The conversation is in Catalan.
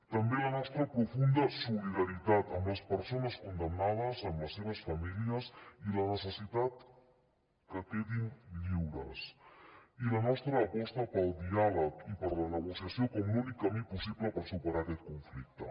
també la nostra profunda solidaritat amb les persones condemnades amb les seves famílies i la necessitat que quedin lliures i la nostra aposta pel diàleg i per la negociació com l’únic camí possible per superar aquest conflicte